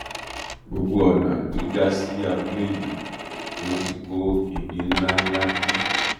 gbogbo ọnà tó já sí abúlé yìí ni wọn ti kó igi ńlá ńlá dí